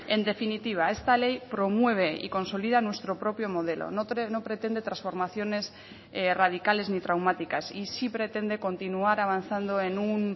en definitiva esta ley promueve y consolida nuestro propio modelo no pretende transformaciones radicales ni traumáticas y sí pretende continuar avanzando en un